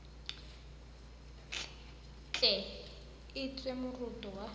tle e ntshiwe moroto wa